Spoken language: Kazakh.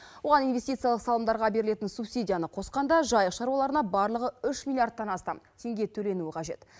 оған инвестициялық салымдарға берілетін субсидияны қосқанда жайық шаруаларына барлығы үш миллиардтан астам теңге төленуі қажет